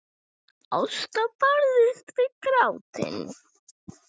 Ásta barðist við grátinn.